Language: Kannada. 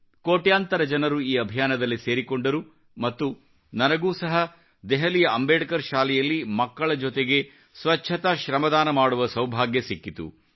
ಕೋಟ್ಯಾಂತರ ಜನರು ಈ ಅಭಿಯಾನದಲ್ಲಿ ಸೇರಿಕೊಂಡರು ಮತ್ತು ನನಗೂ ಸಹ ದೆಹಲಿಯ ಅಂಬೇಡ್ಕರ್ ಶಾಲೆಯಲ್ಲಿ ಮಕ್ಕಳ ಜೊತೆಗೆ ಸ್ವಚ್ಚತಾ ಶ್ರಮದಾನ ಮಾಡುವ ಸೌಭಾಗ್ಯ ಸಿಕ್ಕಿತು